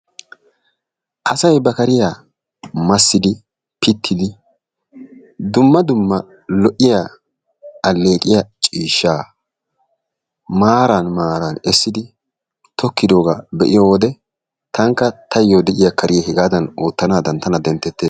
Asay ba kariya massidi, pittidi, dumma dumma lo';iya, alleqiya ciishshaa maaran maaran essidi tokkidoogaa be'iyo wode tanakka taayyoo de'iya kariya hegaadan oottanaadan tana denttettees.